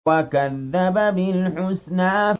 وَكَذَّبَ بِالْحُسْنَىٰ